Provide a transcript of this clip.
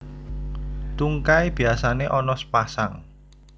Tungkai biasané ana sepasang